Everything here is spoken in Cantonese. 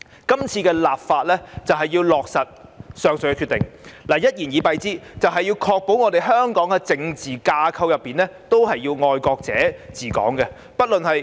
今次的立法是要落實上述的決定；一言以蔽之，是要確保香港的政治架構內全是"愛國者治港"。